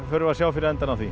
förum við sjá fyrir endann á því